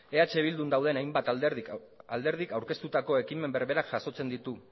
eh bildun dauden hainbat alderdik aurkeztutako ekimen berbera jasotzen ditu